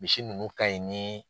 Misi ninnu ka ɲi ni